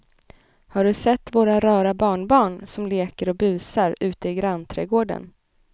Har du sett våra rara barnbarn som leker och busar ute i grannträdgården!